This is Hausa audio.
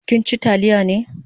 Kin chi taliya ne?